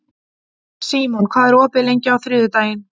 Símon, hvað er opið lengi á þriðjudaginn?